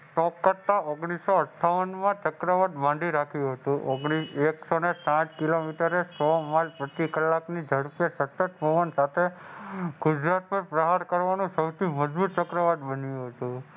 ઓગણીસો અઠઠાવનમાં ચક્રવાત બાંધી રાખ્યું હતું. એકસોને સાત કિલોમીટરે ઝડપે સંસદ ભવન સાથે ગુજરાત પર પ્રહાર કરવાનો સૌથી મજબૂત ચક્રવાત બન્યું હતું.